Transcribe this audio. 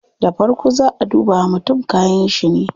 Da farko zaa a duba wa mutum kayanshi ne